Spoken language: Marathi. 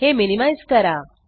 हे मिनिमाइज़ करा